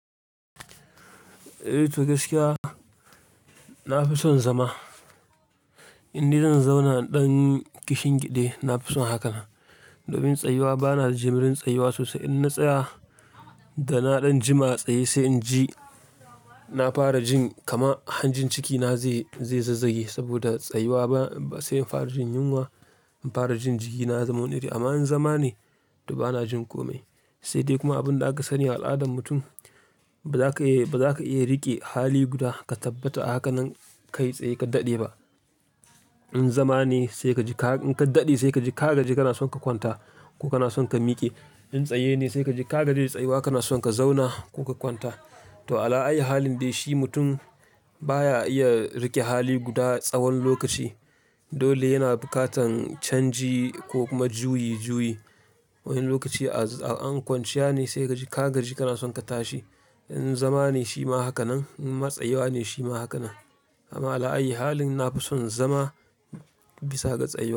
Eh, to gaskiya na fi son zama. Inni zan zauna ɗan kishin gida, na fi son hakan. Domin tsayuwa bana jimurin tsayuwa sosai. In na tsaya da na ɗan jima a tsaye sai in ji na fara jin kama, hanjin cikina zai, zai zazzage saboda tsayuwa ba sai in fara jin yunwa, fara jin jikina zamu niri. Amma in zama ne to bana jin kome. Sai dai kuma abin da aka sani al'adan mutum ba za ka iya, ba za ka iya riƙe hali guda ka tabbata a haka nan ka yi tsaye ka daɗe ba. In zama ne sai ka ji ka, in ka daɗe sai ka ji ka gaji kana son ka kwanta ko kana son ka miƙe. In tsaye ne sai ka ji ka gaji tsayuwa kana son ka zauna ko ka kwanta. To ala ai halin dai shi mutum baya iya riƙe hali guda tsawon lokaci. Dole yana bukatan canji ko kuma juyi juyi. Wani lokaci in kwanciya ne sai kaji ka gaji kana son ka tashi. In zama ne shi ma haka nan, in ma tsayuwa ne shi ma haka nan. Amma ala ai halin na fi son zama bisa ga tsayuwa.